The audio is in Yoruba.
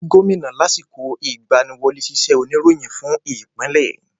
wà á rí Gómìnà lásìkò ìgbaniwọlé sísẹ̀ oníròyìn fún ìpínlẹ̀.